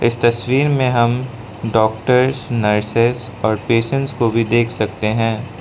तस्वीर में हम डॉक्टर नर्स और पेशेंस को भी देख सकते हैं।